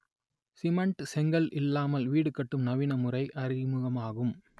cement செங்கல் இல்லாமல் வீடு கட்டும் நவீன முறை அறிமுகமாகும்